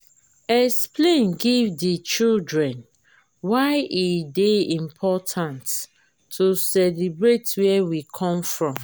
explain give di children why e dey important to celebrate where we come from